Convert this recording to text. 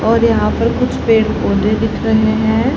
और यहां पर कुछ पेड़ पौधे दिख रहे हैं।